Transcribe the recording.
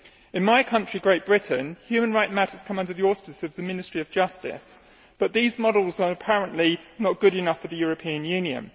In my country, Great Britain, human rights matters come under the auspices of the Ministry of Justice, but these models are apparently not good enough for the European Union.